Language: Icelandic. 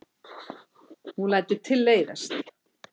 Hún lætur tilleiðast.